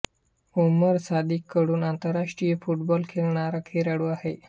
उमर सादिक कडून आंतरराष्ट्रीय फुटबॉल खेळणारा खेळाडू आहे